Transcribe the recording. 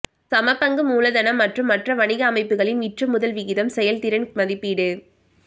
சமபங்கு மூலதனம் மற்றும் மற்ற வணிக அமைப்புகளின் விற்றுமுதல் விகிதம் செயல்திறன் மதிப்பீடு